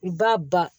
U b'a ban